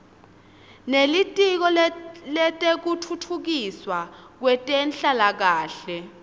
nelitiko letekutfutfukiswa kwetenhlalakahle